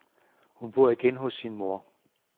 Hun bor igen hos sin mor.